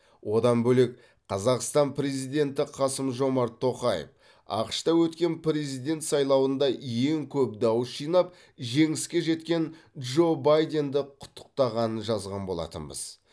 одан бөлек қазақстан президенті қасым жомарт тоқаев ақш та өткен президент сайлауында ең көп дауыс жинап жеңіске жеткен джо байденді құттықтағанын жазған болатынбыз